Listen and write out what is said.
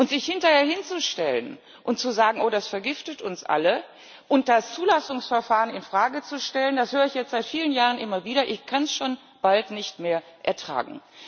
Sich hinterher hinzustellen und zu sagen Oh, das vergiftet uns alle, und dieses Zulassungsverfahren in Frage zu stellen das höre ich jetzt seit vielen Jahren immer wieder, ich kann es schon bald nicht mehr ertragen.